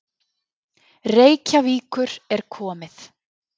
Reykjavíkur er komið.